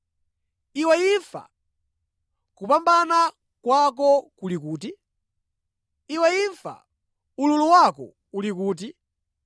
“Iwe imfa, kupambana kwako kuli kuti? Iwe imfa, ululu wako uli kuti?”